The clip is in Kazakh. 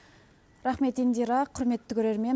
рахмет индира құрметті көрермен